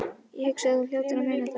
Ég hugsa að þú hljótir að muna það.